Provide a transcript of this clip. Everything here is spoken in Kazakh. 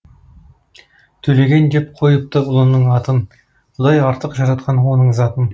төлеген деп қойыпты ұлының атын құдай артық жаратқан оның затын